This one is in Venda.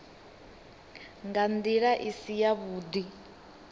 nga nḓila i si yavhuḓi